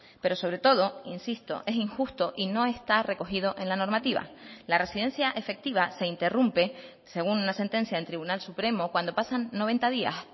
pero sobre todo insisto es injusto y no está recogido en la normativa la residencia efectiva se interrumpe según una sentencia del tribunal supremo cuando pasan noventa días